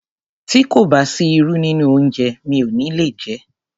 Tí kò bá sí irú nínú oúnjẹ mi ò ní le jé.